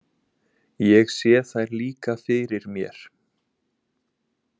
Ég sé þær líka fyrir mér.